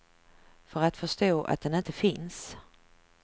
För att förstå att den inte finns.